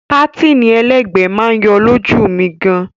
Pátìnì ẹlẹ́gbẹ̀ẹ́ máa yọ lójú mi gan.